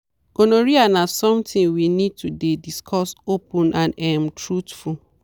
gonorrhea na something we need to dey discuss open and um truthful.